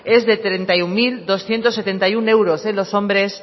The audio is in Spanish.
es de treinta y uno mil doscientos setenta y uno euros en los hombres